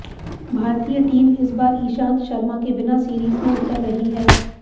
भारतीय टीम इस बार ईशांत शर्मा के बिना सीरीज में उतर रही है